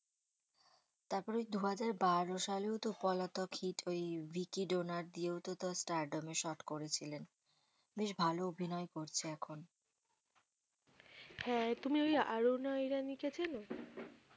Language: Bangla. তারপর দু হাজার বারো সালেও তো পলাতক হিট হয়েই ওই ভিকি ডোনার দিয়েও তো star ডোমে শর্ট করেছিলেন বেশ ভালো অভিনয় করছে এখন হ্যাঁ তুমি ওই আরোনা ওইরানী কে চেন?